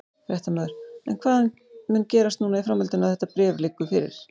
Fréttamaður: En hvað mun gerast núna í framhaldinu að þetta bréf liggur fyrir?